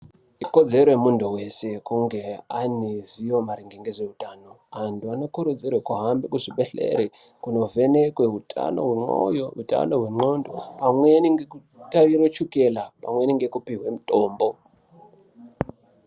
Ikodzero yemuntu weshe kunge ane ruzivo maringe ngezveutano. Antu ane korodzero kuhambe kuzvibhedhlere kundovhenekwe utano hwemoyo, utano hwenxondo, pamweni ngekutarirwe chukela pamweni ngekupihwe mitombo.